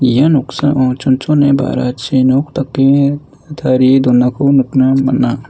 ia noksao chonchone ba·rachi nok dake tarie donako nikna man·a.